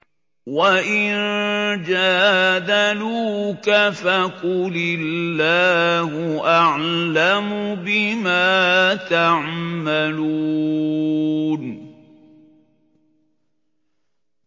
وَإِن جَادَلُوكَ فَقُلِ اللَّهُ أَعْلَمُ بِمَا تَعْمَلُونَ